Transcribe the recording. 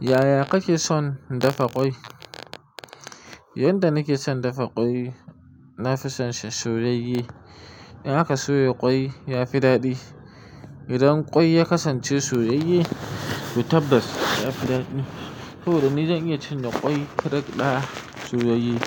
Yaya kake son dafa kwai? Yanda nake son dafa kwai, nafison shi soyayye. In aka soya kwai yafi daɗi. Idan kwai ya kasance soyayye, to tabbas yafi daɗi. To don ni zan iya cin da kwai kareck ɗaya soyayye